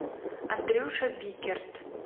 андрюша биккерт